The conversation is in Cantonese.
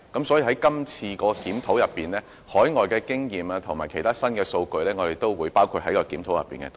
所以，我們會把海外的經驗及其他新數據也包括在今次的檢討內。